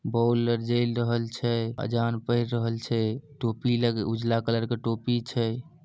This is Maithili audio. बॉल आर जैल रहल छै अजान पढ़ रहल छै टोपी लग उजला कलर के टोपी छै।